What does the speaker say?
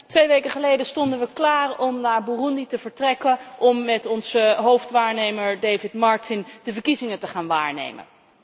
Twee weken geleden stonden we klaar om naar Burundi te vertrekken om met onze hoofdwaarnemer David Martin de verkiezingen te gaan waarnemen.